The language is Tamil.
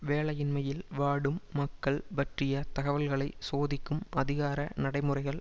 வேலையின்மையில் வாடும் மக்கள் பற்றிய தகவல்களை சோதிக்கும் அதிகார நடைமுறைகள்